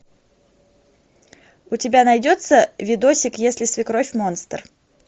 у тебя найдется видосик если свекровь монстр